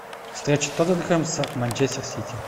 встреча тоттенхэм с манчестер сити